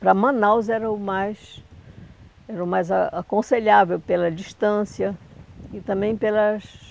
Para Manaus era o mais era o mais a aconselhável pela distância e também pelas